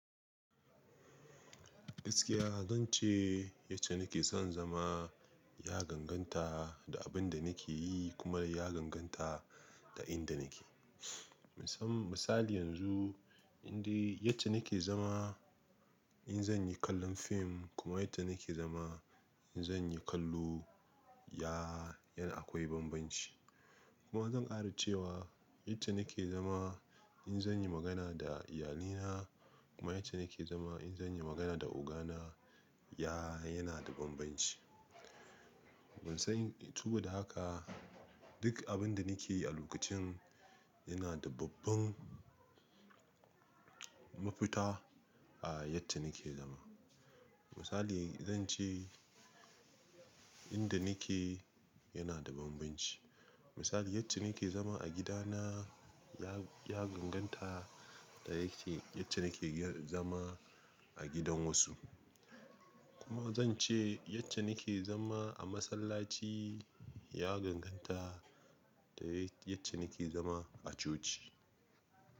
Gaskiya zan ce yace nake son zama ya ganganta da abin da nake yi kuma ya ganganta da inda nake. Misali yanzu inde yacce nake zama in zan yi kallon fim kuma yacce nake zama in zan yi kallo yana akwai bambanci. Kuma zan ƙara cewa yace nake zama in zan yi magana da iyalina kuma yace nake zama in zan yi magana da ogana ya yana da bambanci. Ban san tubba da haka duk abin da nake yi a lokacin yana da babban mafita a yadda nake zama. Misali zan ce inda nake yana da bambanci. Misali yacce nake zama a gidana ya, ya ganganta da yake yacce nake zama a gidan wasu. Kuma zan ce yace nake zama a masallaci ya ganganta da yace nake zama a coci.